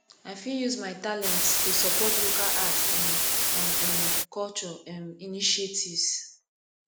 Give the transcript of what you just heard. i fit use my talents to support local arts um and um culture um initiatives